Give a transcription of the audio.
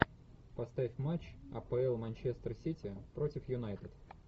поставь матч апл манчестер сити против юнайтед